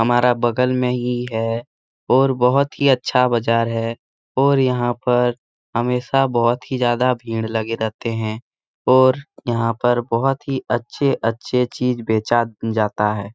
हमारा बगल में ही है और बोहोत ही अच्छा बाजार है और यहाँ पर हमेशा बहोत ही ज्यादा भीड़ लगे रहते हैं और यहाँ पर बहुत ही अच्छे-अच्छे चीज़ बेचा जाता है ।